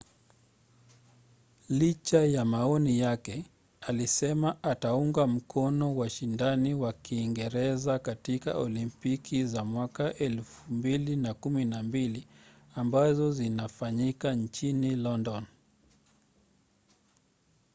licha ya maoni yake alisema ataunga mkono washindani wa kiingereza katika olimpiki za 2012 ambazo zinafanyika nchini london